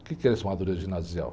O que é essa ginasial?